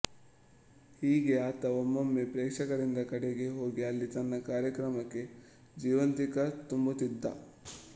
ಹೀಗೆ ಆತ ಒಮ್ಮೊಮ್ಮೆ ಪ್ರೇಕ್ಷಕರಿದ್ದ ಕಡೆಗೇ ಹೋಗಿ ಅಲ್ಲಿ ತನ್ನ ಕಾರ್ಯಕ್ರಮಕ್ಕೆ ಜೀವಂತಿಕೆ ತುಂಬುತ್ತಿದ್ದ